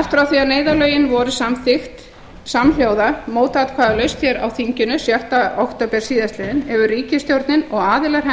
allt frá því að neyðarlögin voru samþykkt samhljóða mótatkvæðalaust á þinginu sjötta október síðastliðinn hefur ríkisstjórnin og aðilar